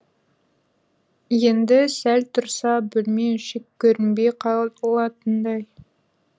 енді сәл тұрса бөлме іші көрінбей қалатындай